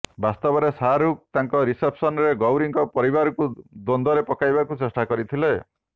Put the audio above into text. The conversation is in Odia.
ବାସ୍ତବରେ ଶାହରୁଖ ତାଙ୍କ ରିସେପ୍ସନରେ ଗୌରୀଙ୍କ ପରିବାରକୁ ଦ୍ୱନ୍ଦରେ ପକାଇବାକୁ ଚେଷ୍ଟା କରିଥିଲେ